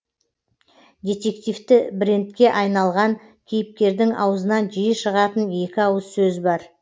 детективті брендке айналған кейіпкердің аузынан жиі шығатын екі ауыз сөз бар